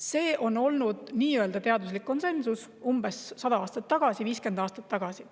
Selline oli teaduslik konsensus umbes 100 aastat tagasi, 50 aastat tagasi.